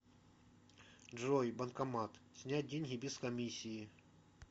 джой банкомат снять деньги без комиссии